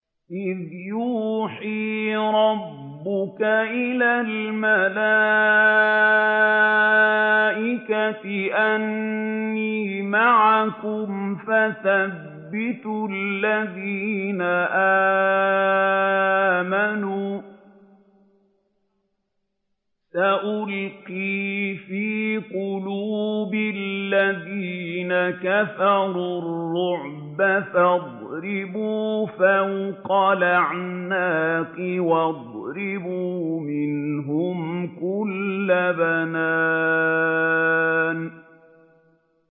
إِذْ يُوحِي رَبُّكَ إِلَى الْمَلَائِكَةِ أَنِّي مَعَكُمْ فَثَبِّتُوا الَّذِينَ آمَنُوا ۚ سَأُلْقِي فِي قُلُوبِ الَّذِينَ كَفَرُوا الرُّعْبَ فَاضْرِبُوا فَوْقَ الْأَعْنَاقِ وَاضْرِبُوا مِنْهُمْ كُلَّ بَنَانٍ